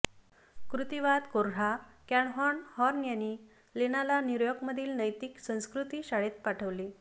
कृतिवाद कोर्हा कॅलहॉर्न हॉर्न यांनी लेणाला न्यूयॉर्कमधील नैतिक संस्कृती शाळेत पाठवले